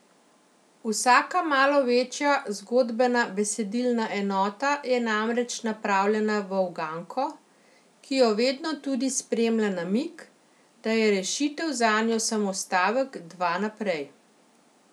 Vsaka malo večja zgodbena, besedilna enota je namreč napravljena v uganko, ki jo vedno tudi spremlja namig, da je rešitev zanjo samo stavek, dva naprej.